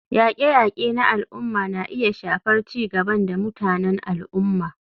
Yaƙe-yaƙe na al'umma na iya shafar ci gaban da mutanen al'umma.